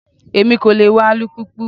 Èmi kò lè wa alùpùpù.